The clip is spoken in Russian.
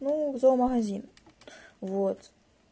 ну в зоомагазин вот